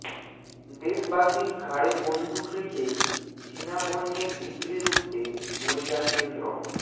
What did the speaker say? দেশবাসীর ঘাড়ে বন্দুক রেখে চীনা পণ্যের বিক্রি রুখতে মরিয়া কেন্দ্র